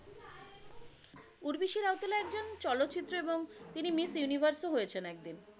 চলচ্চিত্র এবং তিনি মিস ইউনিভার্স ও হয়েছেন একদিন।